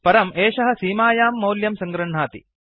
परम् एषः सीमायां मौल्यं सङ्गृह्णाति